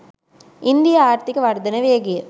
ඉන්දීය ආර්ථික වර්ධන වේගය